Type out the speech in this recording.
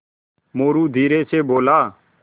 मोरू धीरे से बोला